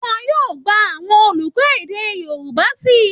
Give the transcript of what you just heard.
Wọn yóò gba àwọn olùkọ́ èdè Yorùbá síi